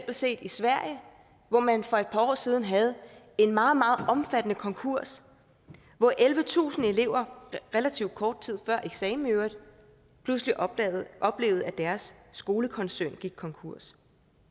set i sverige hvor man for et par år siden havde en meget meget omfattende konkurs hvor ellevetusind elever relativt kort tid før eksamen i øvrigt pludselig oplevede oplevede at deres skolekoncern gik konkurs